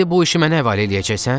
İndi bu işi mənə həvalə eləyəcəksən?